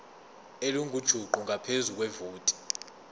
elingujuqu ngaphezu kwevoti